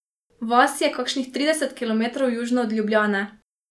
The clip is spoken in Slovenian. Vas je kakšnih trideset kilometrov južno od Ljubljane.